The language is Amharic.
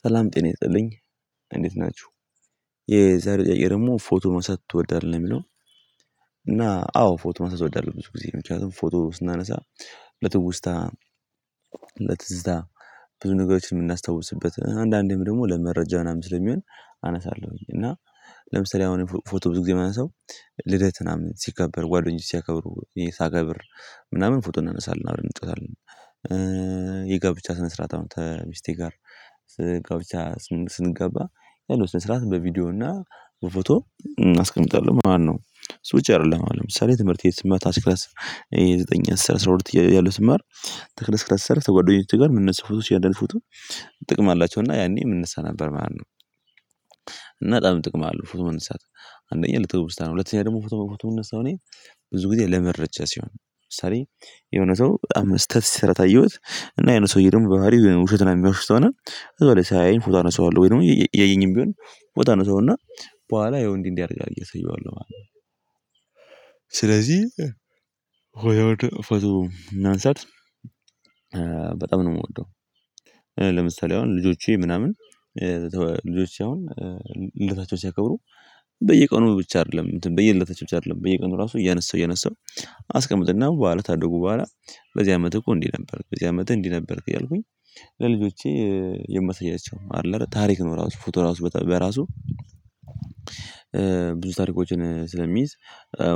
ሰላም ጤና ይስልኝ እንዴት ናችሁ። የዛሬ ጥያቄ ደግሞ ፎቶ ማንሳት ትወዳለህ የሚለው? እና አዎ ፎቶ ማንሳት እወዳለሁ። ብዙ ጊዜ ምክንያቱም ፎቶ ስናነሳ ለትውስታ ለትዝታ ብዙ ነገሮችን የምናስታውስበት አንዳንዴም ደግሞ ለመረጃ ምናምን ስለሚሆን። አነሳለሁኝ እና ለምሳሌ አሁን ፎቶ ብዙ ጊዜ ማንሳው ልደትን ምናምን ሲከበር ጓደኞቼ ሲያከብሩ እኔ ሳከብር ምናምን ፎቶ እናነሳለን አብረን እንጨታለን። የጋብቻ ስነ ስርዓት አሁን ተሚስቴ ጋር ጋብቻ ስንገባ ያለው ስነ ስርዓት በቪዲዮ እና በፎቶ አስቀምጣለሁ ማለት ነው። ስዊች አይደለም አሁን ለምሳሌ ትህርምርቴን የዘጠኝ አስር አስራ ሁለት ያለው ተክለ ስክለ ስማር ከጓደኞች ጋር የምነሳው ፎቶ እያንዳንዱ ፎቶ ጥቅም አላቸውና ያኔ እነሳ ነበር ማለት ነው። እና በጣም ጥቅም አለው ፎቶ መነሳት አንደኛ ለተውስታ ነው። ሁለተኛ ደግሞ ፎቶ መነሳው እኔ ብዙ ጊዜ ለመረጃ ሲሆን ለምሳሌ የሆነ ሰው በጣም ስህተት ሲሰራ ታየሁት። እና የሆነ ሰውዬ ደግሞ በሀሪው ውሸት ምናምን የሚዋሽ ከሆነ። ሳያዬኝ ፎቶ አነሳዋለሁ ወይ ደግሞ እያየኝም ቢሆን ፎቶ አነሳውና በኋላ ይሄን እንዲህ እንዲህ አድርጋሀል ብዬ አሰየዋለሁ ማለት ነው። ስለዚህ ፎቶ ማንሳት በጣም ነው የምወደው። ለምሳሌ አሁን ልጆቼ ምናምን ልጆቼ አሁን ልደታቸው ሲያከብሩ በየቀኑ ብቻ አይደለም በየልደታቸው ብቻ አይደለም በየቀኑ ራሱ እያነሳው እያነሳው። አስቀምጥና በኋላ ታደጉ በኋላ በዚህ አመት እኮ እንዲህ ነበርክ በዚህ አመት እንዲህ ነበርክ እያልኩኝ ለልጆቼ የማሰያቸው አይደለ ታሪክ ነው ራሱ ፎቶ ራሱ በጣም በራሱ። ብዙ ታሪኮችን ስለሚይዝ